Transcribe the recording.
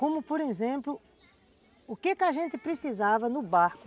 Como, por exemplo, o que a gente precisava no barco